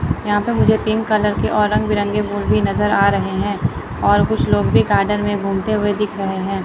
यहां पर मुझे पिंक कलर के और रंग बिरंगे फूल भी नजर आ रहे हैं और कुछ लोग भी गार्डन में घूमते हुए दिख रहे हैं।